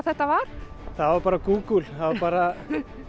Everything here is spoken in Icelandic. þetta var það var bara Google það var bara